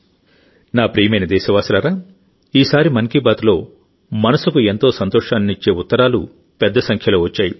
నా ప్రియమైన దేశవాసులారాఈసారి మన్ కీ బాత్లో మనసుకు ఎంతో సంతోషాన్నిచ్చే ఉత్తరాలు పెద్ద సంఖ్యలో వచ్చాయి